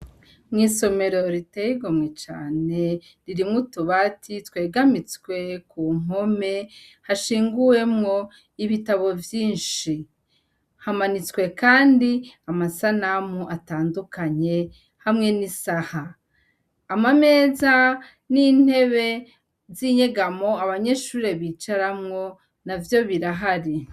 Mw' isomero riteye igomwe cane, ririmwo utubati twegamitswe ku mpome , hashinguwemwo ibitambo vyinshi . Hamanitswe kandi amasanamu atandukanye hamwe n' isaha. Amameza n' intebe z' inyegamo abanyeshure bicaramwo navyo birahari.